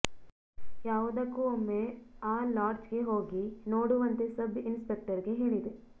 ಯಾವುದಕ್ಕೂ ಒಮ್ಮೆ ಆ ಲಾಡ್ಜ್ಗೆ ಹೋಗಿ ನೋಡುವಂತೆ ಸಬ್ ಇನ್ಸ್ಪೆಕ್ಟರ್ಗೆ ಹೇಳಿದೆ